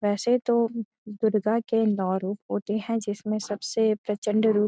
वैसे तो दुर्गा के नौ रूप होते है जिसमें सबसे प्रचंड रूप --